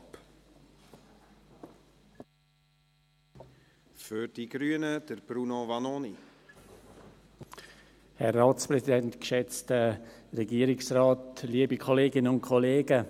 Aus diesem Grund lehnen wir in unserer Fraktion die Abschreibung des Postulats auch ab.